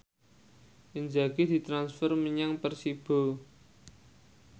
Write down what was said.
Inzaghi ditransfer menyang Persibo